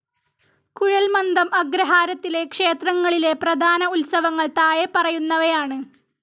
കുഴൽമന്ദം അഗ്രഹാരത്തിലെ ക്ഷേത്രങ്ങളിലെ പ്രധാന ഉത്സവങ്ങൾ താഴെപ്പറയുന്നവ ആണ്.